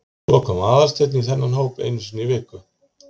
Svo kom Aðalsteinn í þennan hóp einu sinni í viku.